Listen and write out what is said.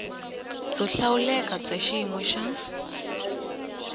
byo hlawuleka bya xiyimo xa